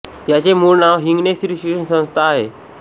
याचे मूळ नाव हिंगणे स्त्री शिक्षण संस्था होते